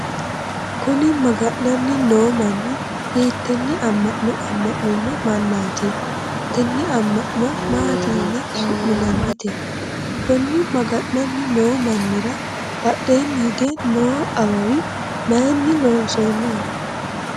kuni maga'nanni noo manni hiittenne amma'no amma'nino mannaati? tenne amma'no maati yine su'minannite? konni maga'nanni noo mannira badheenni hige noo awawi mayiinni loonsoonniho?